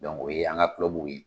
Dɔnku o ye an ka kulɔbuw ye.